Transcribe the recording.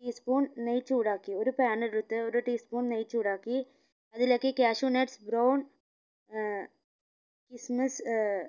tea spoon നെയ്യ് ചൂടാക്കി ഒരു pan എടുത്ത് ഒരു tea spoon നെയ് ചൂടാക്കി അതിലേക്ക് cashew nut brown ഏർ kismis ഏർ